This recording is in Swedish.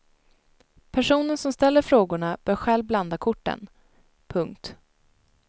Personen som ställer frågorna bör själv blanda korten. punkt